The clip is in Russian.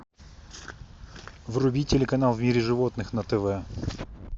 вруби телеканал в мире животных на тв